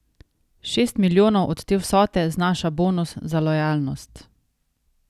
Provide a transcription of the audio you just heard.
Šest milijonov od te vsote znaša bonus za lojalnost.